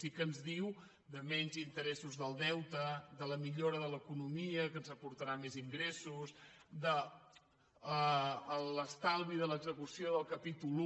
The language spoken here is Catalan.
sí que ens diu de menys inte·ressos del deute de la millora de l’economia que ens aportarà més ingressos l’estalvi de l’execució del ca·pítol i